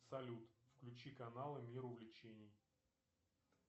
салют включи каналы мир увлечений